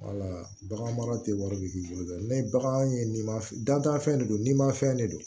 bagan mara tɛ wari bi k'i bolo dɛ ni bagan ye ni dantanfɛn de don ni mafɛn de don